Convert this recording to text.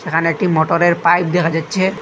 এখানে একটি মোটরের পাইপ দেখা যাচ্ছে।